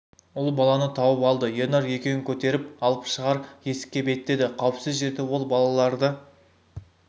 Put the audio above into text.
ұл баланы тауып алды ернар екеуін көтеріп алып шығар есікке беттеді қауіпсіз жерде ол балаларды